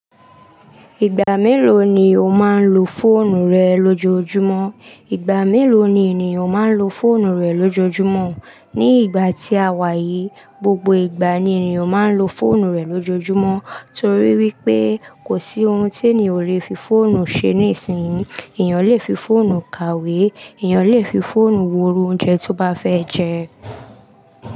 Ìgbà mélòó ni o máa ń lo fóònù rẹ lójoojúmọ́? Ìgbà mélòó ni ènìyàn máa ń lo fóònù rẹ̀ lójoojúmọ́? Ní ìgbà tí a wà yìí, gbogbo ìgbà ni ènìyàn máa ń lo fóònù rẹ̀ lójoojúmọ́ torí wípé kò sí ohun tí ènìyàn ò lè fi fóònù ṣe níìsín. Ènìyàn lè fi fóònù kàwé, ènìyàn lè fi fóònù wo irun oúnjẹ tó bá fẹ́ jẹ.